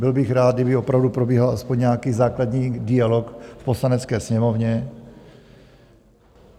Byl bych rád, kdyby opravdu probíhal aspoň nějaký základní dialog v Poslanecké sněmovně.